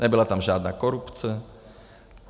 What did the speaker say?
Nebyla tam žádná korupce.